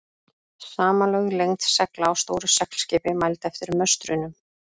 Samanlögð lengd segla á stóru seglskipi, mæld eftir möstrunum.